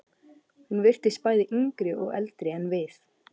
Hún virtist bæði yngri og eldri en við.